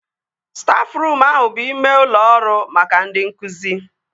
Stafruum ahụ bụ ime ụlọ ọrụ maka ndị nkụzi